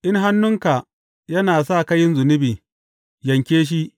In hannunka yana sa ka yin zunubi, yanke shi.